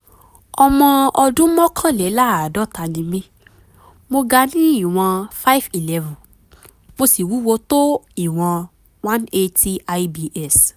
ọmọ ọdún mọ́kànléláàádọ́ta ni mí mo ga ní ìwọ̀n five eleven mo sì wúwo tó ìwọ̀n one eighty ibs